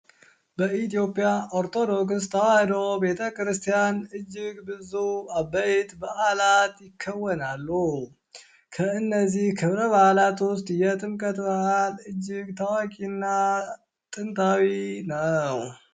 በኢትዮጵያ ኦርቶዶክስ ተዋህዶ ቤተክርስቲያን እጅግ ብዙ አበይት በዓላ ይከወናሉ። ከእነዚ ክብረ በዓላት ውስጥ የጥምቀት በዓል እጅግ ታዋቂ እና ጥንታዊ ነው።